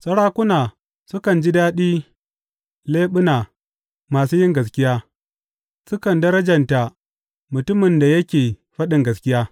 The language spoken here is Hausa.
Sarakuna sukan ji daɗi leɓuna masu yin gaskiya; sukan darjanta mutumin da yake faɗin gaskiya.